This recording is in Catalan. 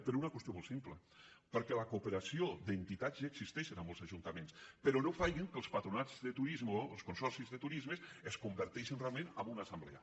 per una qüestió molt simple perquè la cooperació d’entitats ja existeix en molts ajuntaments però no facin que els patronats de turisme els consorcis de turisme es con·verteixin realment en una assemblea